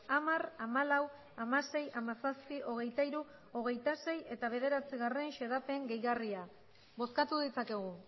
hamar hamalau hamasei hamazazpi hogeita hiru hogeita sei eta bederatzi xedapen gehigarria bozkatu ditzakegu